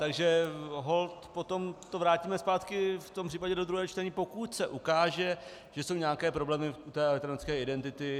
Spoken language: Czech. Takže holt potom to vrátíme zpátky v tom případě do druhého čtení, pokud se ukáže, že jsou nějaké problémy u té elektronické identity.